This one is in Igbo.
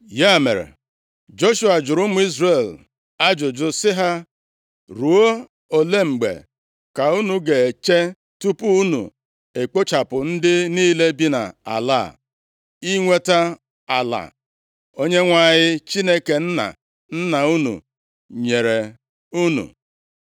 Ya mere, Joshua jụrụ ụmụ Izrel ajụjụ sị ha, “Ruo ole mgbe ka unu ga-eche tupu unu ekpochapụ ndị niile bi nʼala a, inweta ala Onyenwe anyị Chineke nna nna unu nyere unu?